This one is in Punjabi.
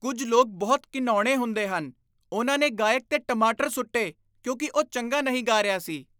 ਕੁੱਝ ਲੋਕ ਬਹੁਤ ਘਿਣਾਉਣੇ ਹੁੰਦੇ ਹਨ। ਉਨ੍ਹਾਂ ਨੇ ਗਾਇਕ 'ਤੇ ਟਮਾਟਰ ਸੁੱਟੇ ਕਿਉਂਕਿ ਉਹ ਚੰਗਾ ਨਹੀਂ ਗਾ ਰਿਹਾ ਸੀ।